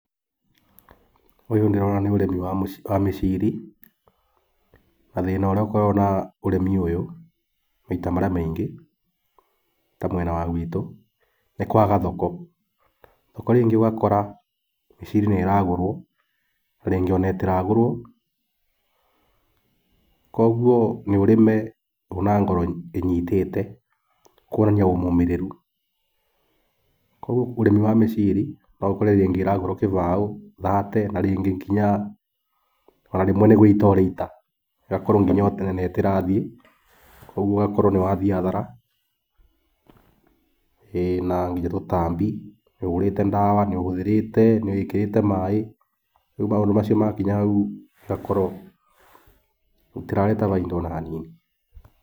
Ũyũ ndĩrona nĩ ũrĩmi wa mĩciri na thĩna ũrĩa ũkoragwo na ũrĩmi ũyũ maita marĩa maingĩ ta mwena wa nagwitũ nĩ kwaga thoko, thoko rĩngĩ ũgakora mĩciri nĩ ĩragũrwo na rĩngĩ ndĩragũrwo kwoguo nĩ ũrĩme na ngoro ĩnyitĩte kuonania wĩ mũmĩrĩru, kwoguo ũrĩmi wa mĩciri no ũkore rĩngĩ ĩragũrwo gĩbao, thate na rĩngĩ nginya ona rĩmwe nĩ gũita ũraita ũgakorwo nginya ũtonete itirathiĩ kwoguo ũgakorwo nĩ wathiĩ hathara ĩĩ nginya nĩ tũtambi nĩ ũhũrĩte ndawa nĩ ũhũthĩrĩte nĩ wĩkĩrĩte maĩ, rĩu maũndũ macio makinya hau itirarehe baita ona hanini.